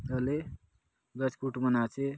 तले गच कूट मन आचे।